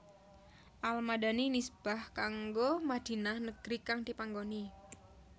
Al Madani nisbah kanggo Madinah negri kang dipanggoni